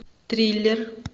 триллер